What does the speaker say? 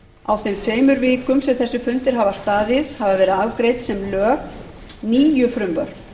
á þeim tveimur vikum sem þessir fundir hafa staðið hafa verið afgreidd sem lög níu frumvörp